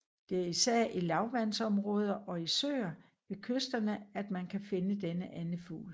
Det er især i lavvandsområder og i søer ved kysterne at man kan finde denne andefugl